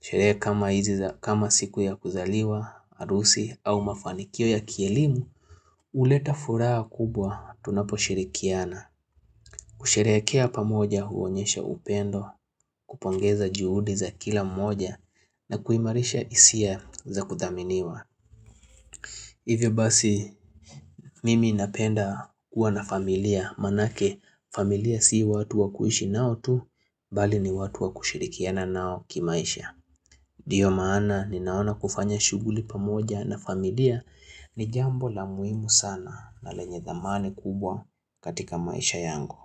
Sherehe kama siku ya kuzaliwa, harusi au mafanikio ya kielimu, huleta furaha kubwa tunapo shirikiana. Kusherehekea pamoja huonyesha upendo, kupongeza juhudi za kila moja, na kuimarisha hisia za kudhaminiwa. Hivyo basi, mimi napenda kuwa na familia, manake familia si watu wakuiishi nao tu, bali ni watu wakushirikiana nao kimaisha. Ndiyo maana naona kufanya shughuli pamoja na familia ni jambo la muhimu sana na lenye thamani kubwa katika maisha yangu.